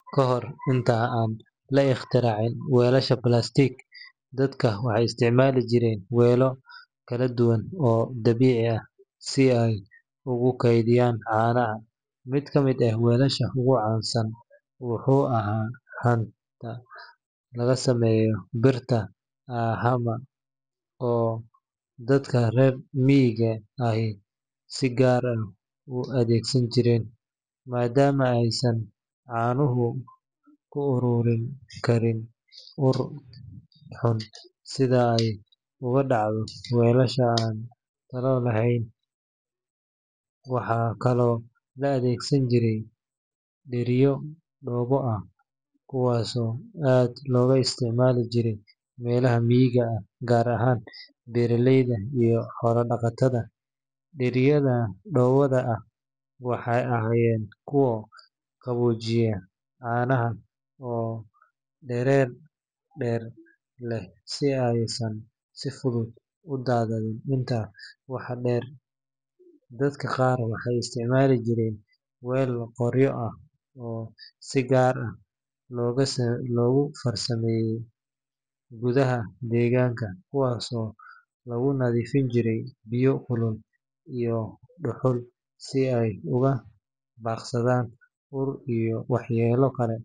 Kahir inta an laigtiyarix waalasha plastic dadka waxay isticmali jiree welo kaladuwan oo dabici ah, si an ugu keydiyaan garac, mid kamid ah walasaha ogucan san wuxu aha mid lagasameyo biirta aa haba oo daka rer migaa ah ay si gaar ah u adegsan jiree, madama aysan canuhu ururin kariin sidha ay ogudacdo walasha ay dala haleyn, waxa kalo laadegsan jiree biriyo kuwas oo aad logaisticmali jiree dadka rer migaa gaar ahan beraleyda iyo xoola dagatada, diriyada dowada ah waxay agayen kuwa qawojiya canaha oo derer leh, sidha aysan si fudud udadanin dirta waxa deer dadaka gaar waxay isticmali jireen waal qoryo ah oo si gaar ah logufarsameye gudaha deganka, kuwas oo lagunadifinjiye biyo kulul iyo duhul, si ay ugadagsada ur iyo waxyela kale.